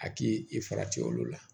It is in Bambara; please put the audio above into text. A k'i i farati olu la